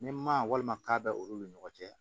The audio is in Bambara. Ni ma walima k'a bɛ olu ni ɲɔgɔn cɛ